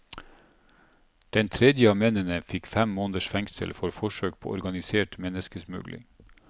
Den tredje av mennene fikk fem måneders fengsel for forsøk på organisert menneskesmugling.